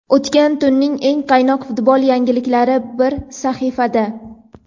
O‘tgan tunning eng qaynoq futbol yangiliklari bir sahifada:.